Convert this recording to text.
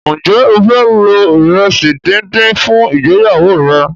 Njé o fẹ lo iresi dín dín fún ìgbéyàwó rẹ?